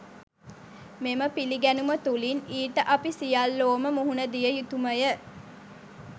මෙම පිළිගැනුම තුළින් ඊට අපි සියල්ලෝම මුහුණ දිය යුතුමය.